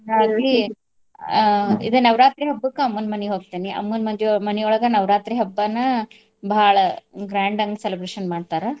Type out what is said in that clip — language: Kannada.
ಅ ಇದಾ ನವರಾತ್ರಿ ಹಬ್ಬಕ ಅಮ್ಮನ್ ಮನಿಗ್ ಕೋಕ್ತಿನಿ ಅಮ್ಮನ್ ಮದಿ~ ಮನಿಯೋಳ್ಗ ನವರಾತ್ರಿ ಹಬ್ಬನ ಭಾಳ grand ಆಂಗ್ celebration ಮಾಡ್ತಾರಾ.